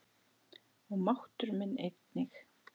Og máttur minn einnig.